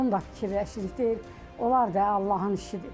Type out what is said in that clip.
Bunu da fikirləşirik, deyirik onlar da Allahın işidir.